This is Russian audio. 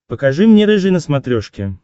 покажи мне рыжий на смотрешке